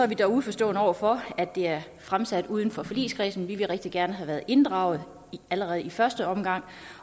vi dog uforstående over for at det er fremsat uden for forligskredsen vi ville rigtig gerne have været inddraget allerede i første omgang